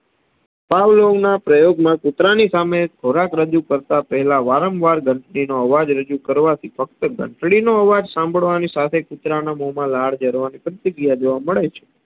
પાવલોના પ્રયોગમાં કુતરાની સામે ખોરાક રજૂ કરતાં પેહલા વારંવાર ઘંટડીનો અવાજ રજૂ કરવાથી ફક્ત ઘંટડીનો અવાજ સાંભડવાની સાથે કુતરાના મોમાં લાડ જરવાની પ્રતીકીત્યા જોવા મળે છે.